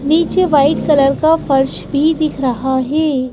नीचे white colour का फर्श भी दिख रहा है।